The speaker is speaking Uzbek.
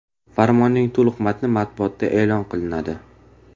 Farmonning to‘liq matni matbuotda e’lon qilinadi.